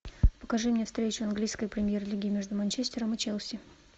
покажи мне встречу английской премьер лиги между манчестером и челси